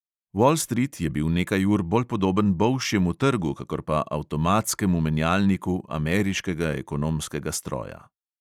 Vol strit je bil nekaj ur bolj podoben bolšjemu trgu kakor pa avtomatskemu menjalniku ameriškega ekonomskega stroja.